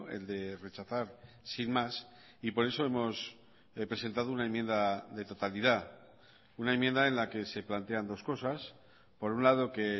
el de rechazar sin más y por eso hemos presentado una enmienda de totalidad una enmienda en la que se plantean dos cosas por un lado que